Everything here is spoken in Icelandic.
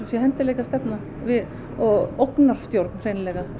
sé hentugleikastefna og ógnarstjórn hreinlega